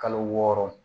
Kalo wɔɔrɔ